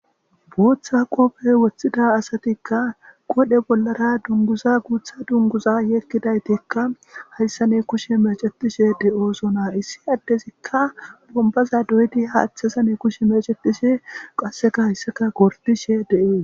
Botha qope wothida asatika qodhe bollara dunguza gutha dunguza hegidaytika haysan kushen mecetishe de'osona ha issi Adezika bombaza doyidi kushe mecetishe qaseka haysaka gordishe des